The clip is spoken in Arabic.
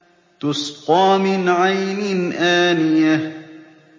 تُسْقَىٰ مِنْ عَيْنٍ آنِيَةٍ